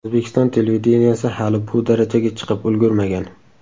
O‘zbekiston televideniyesi hali bu darajaga chiqib ulgurmagan.